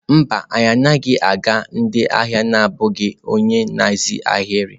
Mba, anyị agaghị aga ndị ahịa na-abụghị onye nhazi ahịrị.